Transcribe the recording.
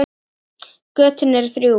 Götin eru þrjú.